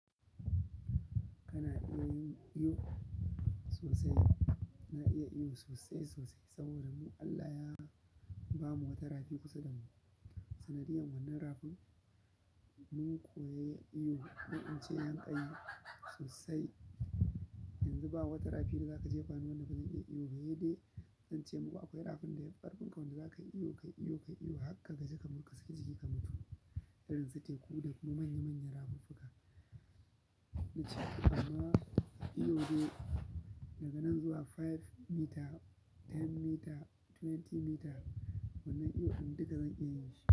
Kana iya yin iyo sosai, na iya iyo sosai, sosai saboda mu Allah ya bamu wata rafi kusa da mu. Sanadiyar wannan rafin mun koya iyo, mun ce yanƙayi sosai. Yanzu babu wata rafi da za ka jefa no wadda ba zan iya iyo ba, saidai ince muku akwai rafin da yafi ƙarfinka wanda za ka yi iyo, ka yi iyo, ka yi iyo har ka gaji ka zo ka saki jiki ka mutu. Irin su teku da kuma manya manyan rafuka na ce amma iyo dai daga nan zuwa biyar meter goma meter ashirin meter wannan iyo ɗin duka zan iya yin shi.